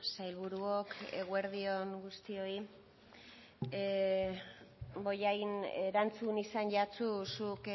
sailburuok eguerdi on guztioi bollain erantzun izan jatsu zuk